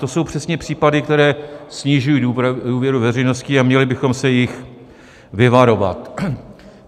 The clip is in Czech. To jsou přesně případy, které snižují důvěru veřejnosti, a měli bychom se jich vyvarovat.